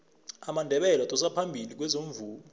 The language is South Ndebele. amandebele adosa phambili kwezomvumo